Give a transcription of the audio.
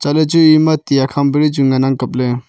chatley chu eyama ti akham pali chu ngan ang kapley.